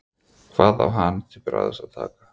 Hvað á hann til bragðs að taka?